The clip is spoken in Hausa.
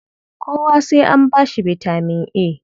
Kowa sai an ba shi bitaman A?